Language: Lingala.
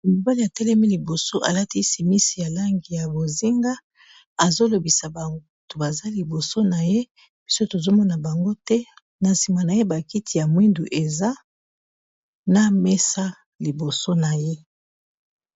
Mobani a telemi liboso alati simisi ya langi ya bozinga azol obisa bato baza liboso na ye, biso tozo mona bango te, na sima na ye ba kiti ya longondo eza na mesa liboso na ye .